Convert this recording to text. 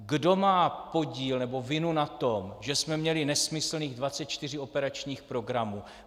Kdo má podíl nebo vinu na tom, že jsme měli nesmyslných 24 operačních programů?